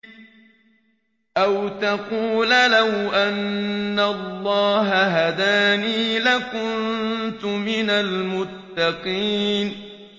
أَوْ تَقُولَ لَوْ أَنَّ اللَّهَ هَدَانِي لَكُنتُ مِنَ الْمُتَّقِينَ